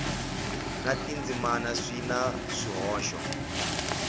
na tindzimana swi na swihoxo